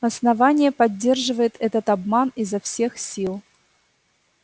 основание поддерживает этот обман изо всех сил